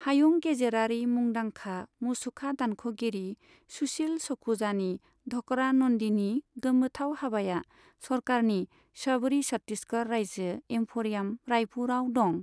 हायुं गेजेरारी मुंदांखा मुसुखा दानख'गिरि सुशिल सखुजानि ढकरा नन्दीनि गोमोथाव हाबाया सरकारनि शबरी छत्तीसगढ़ रायजो एम्फरियाम, रायपुरआव दं।